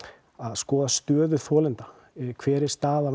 skoða stöðu þolenda hver er staða